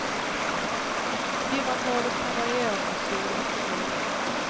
Timantalet kan variera från skola till skola.